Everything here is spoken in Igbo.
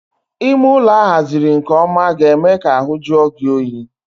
Ime ụlọ a haziri nke ọma ga-eme ka ahu jue gị oyi